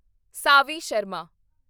Savi Sharma